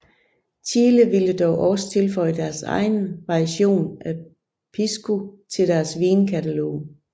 Chile ville dog også tilføje deres egen version af pisco til deres vinkatalog